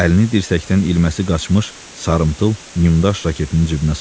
Əlini dirsəkdən ilməsi qaçmış, sarımtıl nyumdaş raketinin cibinə saldı.